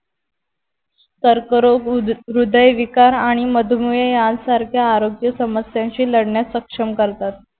कर्करोग हृदयविकार आणि मधुमेह यांसारख्या आरोग्य समस्यांशी लडण्यास सक्षम करतात